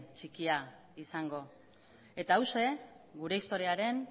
txikia izango eta hauxe gure historiaren